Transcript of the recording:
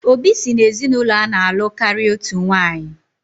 Obi si n'ezinaụlọ ana-alụ karịa otu nwanyị